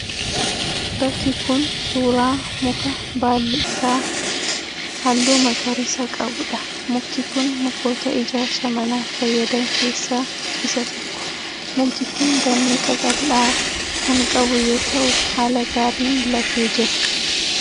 Bakki kun suuraa muka baalli isaa isaa halluu magariisa qabuudha. Mukti kun mukoota ijaarsa manaaf fayyadan keessaa isa tokko. Mukti kun damee qaqal'aa kan qabu yoo ta'u haala gaariin latee jira.